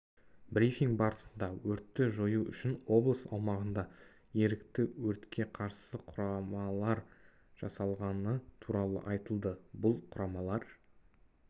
брифинг барысында өртті жою үшін облыс аумағында ерікті өртке қарсы құрамалар жасалғаны туралы айтылды бұл құрамалар